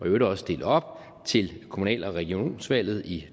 øvrigt også stille op til kommunal og regionsvalget i